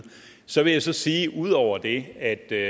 så vil jeg så sige ud over det at det